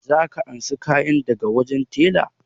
Za ka ansa kayan ka daga wajen tela?